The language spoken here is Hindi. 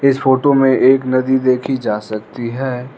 इस फोटो में एक नदी देखी जा सकती है।